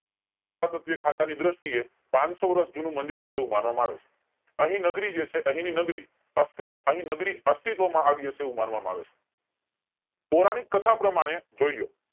ખાતા ની દ્રષ્ટિએ પાંચસો વર્ષ જૂનું મંદિર હશે એવું માનવામાં આવે છે અહીં નગરી જે છે અહીંની નગરી અસ્તિ અહીં નગરી અસ્તિત્વમાં આવી હશે એવું માનવામાં આવે છે પૌરાણીક કથા પ્રમાણે જોય લ્યો